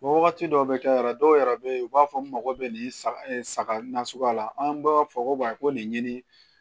Wagati dɔw bɛ kɛ yɛrɛ dɔw yɛrɛ bɛ yen u b'a fɔ n mako bɛ nin saga saga nasuguya la an b'a fɔ ko ko nin ɲini